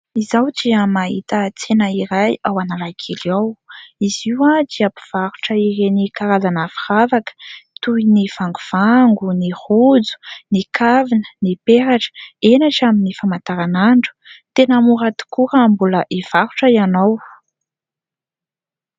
Izaho dia mahita tsena iray ao Analakely ao. Izy io dia mpivarotra ireny karazana firavaka toy ny vangovango, ny rojo, ny kavina, ny peratra, eny hatramin'ny famantaran'andro. Tena mora tokoa raha mbola hivarotra ianao.